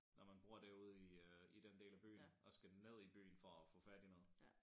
Når man bor derude i øh i den del af byen og skal ned i byen for at få fat i noget